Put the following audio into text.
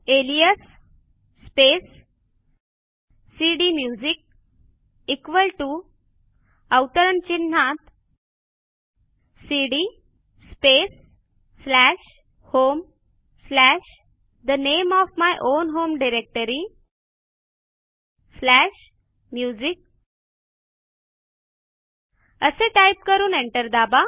alias space cd music equal to अवतरण चिन्हात cd space slash home slash the name of my own home directory slash music असे type करून enter दाबा